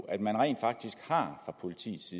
at man rent faktisk fra politiets